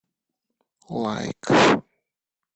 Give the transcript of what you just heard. лайк